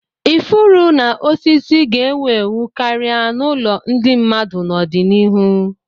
Ifuru na osisi ga-ewu ewu karịa n'ụlọ ndị mmadụ n'ọdịnihu.